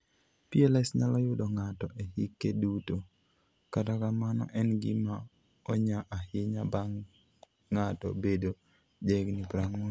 PLS nyalo yudo ng'ato e hike duto, kata kamano en gima onya ahinya bang' ng'ato bedo jahigini 40.